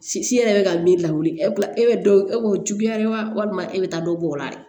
Si si yɛrɛ bɛ ka min lawuli e b'i ko juguya ye walima e bɛ taa dɔ bɔr'o la